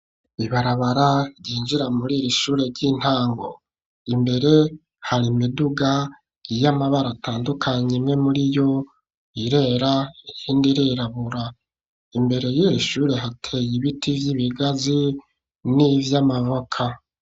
Ibarabara ryinjira muri iri shure ry'intango. Imbere hari imiduga y'amabara atandukanye. Imwe muriyo irera, ihindi irirabura. Imbere y'iri shure hateye ibiti vy'ibigazi n'ivyamaboka.